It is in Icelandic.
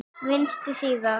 Vinstri síða